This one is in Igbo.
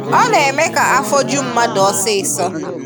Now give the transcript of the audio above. ọ na-eme ka afọ ju mmadụ ọsisọ